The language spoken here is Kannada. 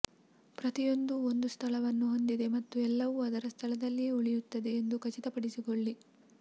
ಪ್ರತಿಯೊಂದೂ ಒಂದು ಸ್ಥಳವನ್ನು ಹೊಂದಿದೆ ಮತ್ತು ಎಲ್ಲವೂ ಅದರ ಸ್ಥಳದಲ್ಲಿಯೇ ಉಳಿಯುತ್ತದೆ ಎಂದು ಖಚಿತಪಡಿಸಿಕೊಳ್ಳಿ